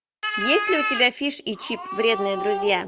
есть ли у тебя фиш и чип вредные друзья